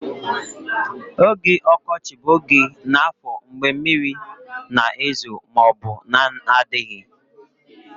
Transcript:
Oge ọkọchị bụ oge n'afọ mgbe mmiri na-ezo ma ọ bụ na-adịghị